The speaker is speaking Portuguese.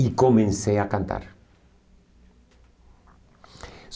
E comecei a cantar.